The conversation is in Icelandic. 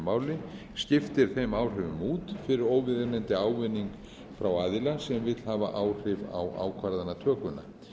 máli skiptir þeim áhrifum út fyrir óviðeigandi ávinning frá aðila sem vill hafa áhrif á ákvarðanatökuna